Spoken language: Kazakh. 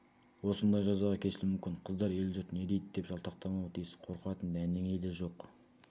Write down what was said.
осындай жазаға кесілуі мүмкін қыздар ел-жұрт не дейді деп жалтақтамауы тиіс қорқатын дәнеңе де жоқ